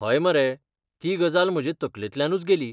हय मरे, ती गजाल म्हजे तकलेंतल्यानूच गेली.